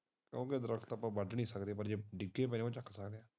ਦਰੱਖਤਾਂ ਤੋਂ ਵੱਢ ਨੀ ਸਕਦੇ ਹਾਂ ਜੇ ਡਿੱਗੇ ਪਏ ਹੋਣ ਉਹ ਚੱਕ ਸਕਦੇ ਹਾਂ